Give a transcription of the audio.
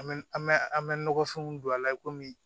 An bɛ an bɛ an bɛ nɔgɔfɛnw don a la i komi